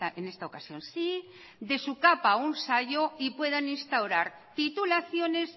en esta ocasión sí de su capa un sayo y puedan instaurar titulaciones